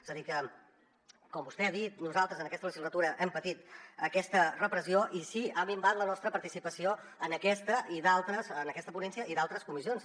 és a dir que com vostè ha dit nosaltres en aquesta legislatura hem patit aquesta repressió i sí ha minvat la nostra participació en aquesta en aquesta ponència i en d’altres comissions